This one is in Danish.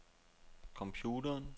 computeren